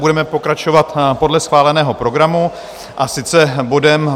Budeme pokračovat podle schváleného programu, a sice bodem